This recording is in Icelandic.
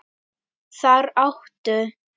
Þar áttu